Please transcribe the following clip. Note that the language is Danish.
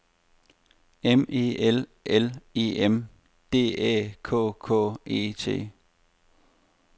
M E L L E M D Æ K K E T